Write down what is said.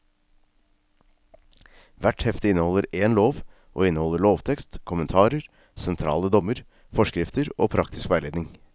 Hvert hefte inneholder én lov, og inneholder lovtekst, kommentarer, sentrale dommer, forskrifter og praktisk veiledning.